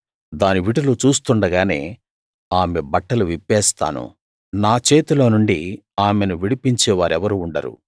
దాని విటులు చూస్తుండగానే ఆమె బట్టలు విప్పేస్తాను నా చేతిలో నుండి ఆమెను విడిపించే వారెవరూ ఉండరు